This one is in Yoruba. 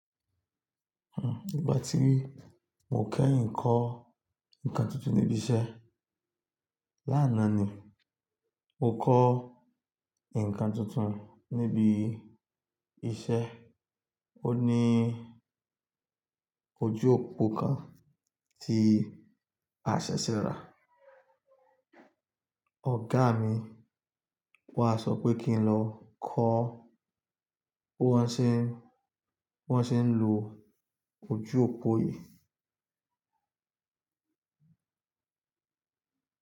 Hmm, ìgbà tí mo kẹ́yìn kọ́ nǹkan tuntun níbi iṣẹ́ lánàá ni. Mo kọ́ nǹkan tuntun níbi iṣẹ́. Ó ní ojú òpó kan tí a ṣẹ̀ṣẹ̀ rà. Ọ̀gá mi wá sọ pé kí n lọ kọ́ bí wọ́n ṣe ń, wọ́n ṣe ń lo ojú òpó yìí.